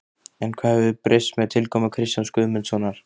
En hvað hefur breyst með tilkomu Kristjáns Guðmundssonar?